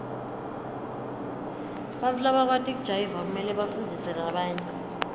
bantfu labakwati kujayiva kumele bafundzise labanye